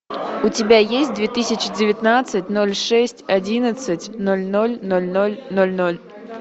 у тебя есть две тысячи девятнадцать ноль шесть одиннадцать ноль ноль ноль ноль ноль ноль